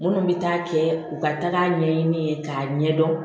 Minnu bɛ taa kɛ u ka taa ɲɛɲini k'a ɲɛdɔn